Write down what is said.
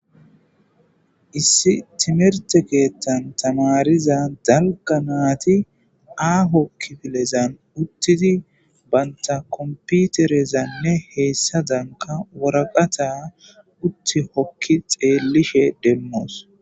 Issi timihirte keththan tamaariza dalgga naytti aaho kifilen uuttidii bantta kompiterezanne hessadankka waraqata uutti hoki xellishe demos